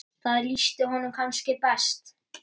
Það lýsti honum kannski best.